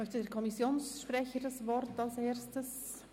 Möchte der Kommissionssprecher als Erstes das Wort?